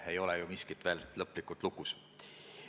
Ei ole ju miskit veel lõplikult lukus.